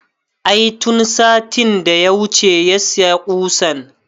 I tun satin da ya wuce ya saya ƙusan